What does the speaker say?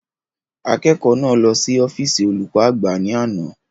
Akẹ́kọ̀ọ́ náà lọ sí ọ́físì olùkọ́ àgbà ni ana